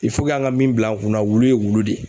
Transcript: an ka min bila an kunna, wulu ye wulu de ye.